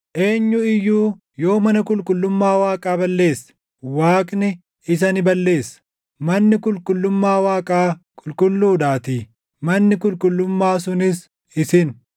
Eenyu iyyuu yoo mana qulqullummaa Waaqaa balleesse, Waaqni isa ni balleessa; manni qulqullummaa Waaqaa qulqulluudhaatii; manni qulqullummaa sunis isin.